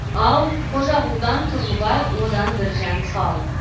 ал қожағұлдан тұрлыбай одан біржан сал